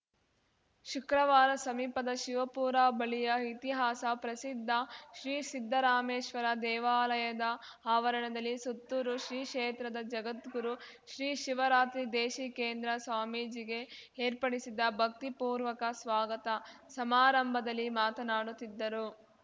ಶುಕ್ರವಾರ ಸಮೀಪದ ಶಿವಪುರ ಬಳಿಯ ಇತಿಹಾಸ ಪ್ರಸಿದ್ಧ ಶ್ರೀ ಸಿದ್ದರಾಮೇಶ್ವರ ದೇವಾಲಯದ ಆವರಣದಲ್ಲಿ ಸುತ್ತೂರು ಶ್ರೀ ಕ್ಷೇತ್ರದ ಜಗದ್ಗುರು ಶ್ರೀ ಶಿವರಾತ್ರಿ ದೇಶೀಕೇಂದ್ರ ಸ್ವಾಮೀಜಿಗೆ ಏರ್ಪಡಿಸಿದ್ದ ಭಕ್ತಿಪೂರ್ವಕ ಸ್ವಾಗತ ಸಮಾರಂಭದಲ್ಲಿ ಮಾತನಾಡುತ್ತಿದ್ದರು